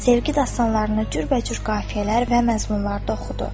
Sevgi dastanlarını cürbəcür qafiyələr və məzmunlarda oxudu.